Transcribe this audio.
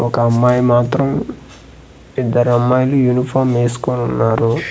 ఒక అమ్మాయి మాత్రం ఇద్దరమ్మాయిలు యూనిఫామ్ వేసుకోనున్నారు.